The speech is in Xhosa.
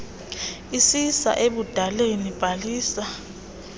isisa ebudaleni bhalisa